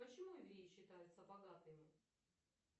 почему евреи считаются богатыми